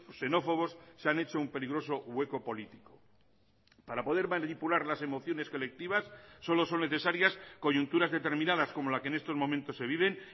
xenófobos se han hecho un peligroso hueco político para poder manipular las emociones colectivas solo son necesarias coyunturas determinadas como la que en estos momentos se viven